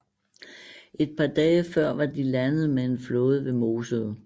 Et par dage før var de landet med en flåde ved Mosede